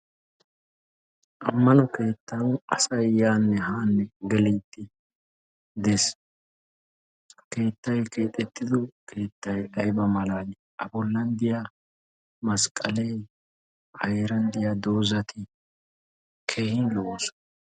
Ammano keettan asay yaanne haanne gelide dees. Keettay keexxxetido keettay aybba malaali! A bollan diya masqqale a heeran diya doozati keehin lo"oosona.